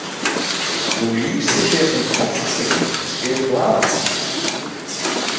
Þú lýsir þér sem tortryggnum, spyr blaðakonan.